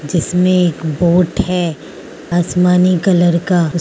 जिसमें एक बोट है आसमानी कलर का --